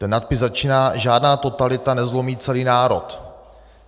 Ten nadpis začíná: "Žádná totalita nezlomí celý národ.